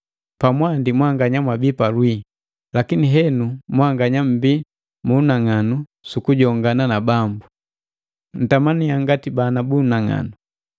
Pamwandi mwanganya mwabii palwii, lakini henu mwanganya mmbii mu unang'anu su kujongana na Bambu. Ntamannya ngati bana bu unang'anu,